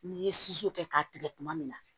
N'i ye kɛ k'a tigɛ tuma min na